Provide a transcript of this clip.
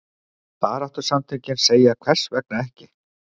Baráttusamtökin segja hvers vegna ekki?